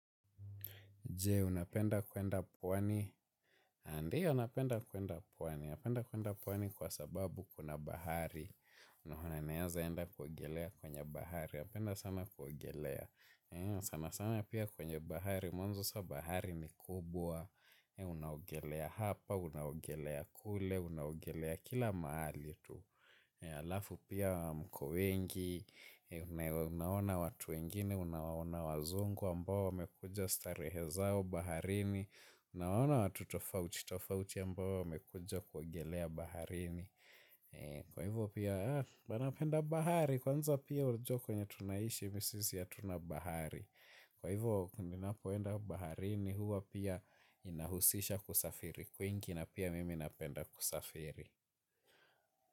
Je, unapenda kuenda pwani. Ndio, unapenda kuenda pwani. Unapenda kuenda puwani kwa sababu kuna bahari. Unaona neaza enda kuogelea kwenye bahari. Napenda sana kuogelea. Sana sana pia kwenye bahari. Mwenzo sa bahari ni kubwa. Unaogelea hapa, unaogelea kule, unaogelea kila mahali tu. Alafu pia mko wengi. Unaona watu wengine. Unaona wazungu ambao wamekuja starehe zao. Baharini, unana watu tofauti, tofauti yambao wamekuja kuogelea baharini. Kwa hivyo pia, wanapenda bahari, kwanza pia unajua kwnye tunaishi, hivisisi hatuna bahari. Kwa hivyo, pindi napoenda baharini, huwa pia inahusisha kusafiri, kwingi na pia mimi napenda kusafiri.